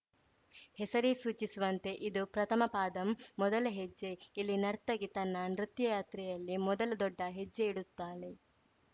ಹೆಸರೇ ಸೂಚಿಸುವಂತೆ ಇದು ಪ್ರಥಮ ಪಾದಂ ಮೊದಲ ಹೆಜ್ಜೆ ಇಲ್ಲಿ ನರ್ತಕಿ ತನ್ನ ನೃತ್ಯಯಾತ್ರೆಯಲ್ಲಿ ಮೊದಲ ದೊಡ್ಡ ಹೆಜ್ಜೆ ಇಡುತ್ತಾಳೆ